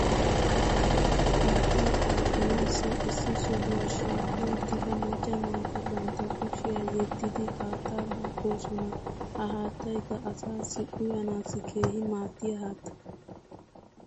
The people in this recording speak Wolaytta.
haattaa duuqqanaassi issi sohuwaa shiiqqi uttida macca naati bantta kushshiyaa yeddidi haattaa duuqqoosona. ha haattaykka asaassi uyanaassi keehi maadiyaa haatta.